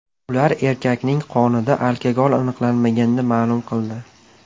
Ular erkakning qonida alkogol aniqlanmaganini ma’lum qildi.